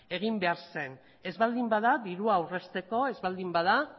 egin behar zen ez baldin bada dirua aurrezteko ez baldin bada